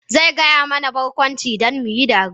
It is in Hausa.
Zai gaya mana barkwanci don mu yi dariya.